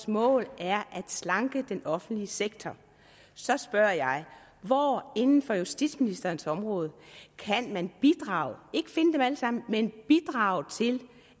målet er at slanke den offentlige sektor så spørger jeg hvor inden for justitsministerens område kan man bidrage ikke finde dem alle sammen men bidrage til